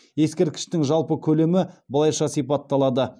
ескерткіштің жалпы көлемі былайша сипатталады